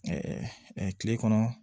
kile kɔnɔ